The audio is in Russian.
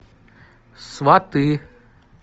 сваты